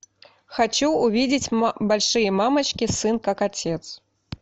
хочу увидеть большие мамочки сын как отец